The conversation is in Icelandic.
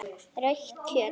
Rautt kjöt.